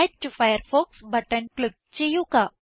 add to Firefox button click ചെയ്യുക